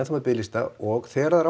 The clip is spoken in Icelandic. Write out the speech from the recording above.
biðlista og þegar það er